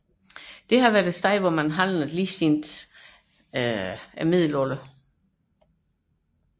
Den har været et handelssted siden Middelalderen